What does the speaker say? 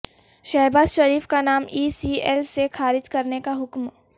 شہباز شریف کا نام E C L سے خارج کرنے کا حکم